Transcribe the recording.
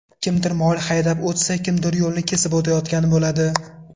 Kimdir mol haydab o‘tsa, kimdir yo‘lni kesib o‘tayotgan bo‘ladi.